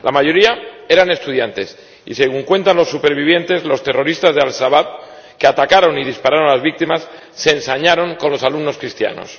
La mayoría eran estudiantes, y, según cuentan los supervivientes, los terroristas de Al Shabab, que atacaron y dispararon a las víctimas, se ensañaron con los alumnos cristianos.